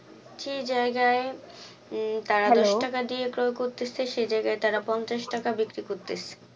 সেই যায়গায় তারা দশটাকা দিয়ে ক্রয় করতেছে সে যায়গায় তার পঞ্চাশ টাকা বিক্রি করতেছে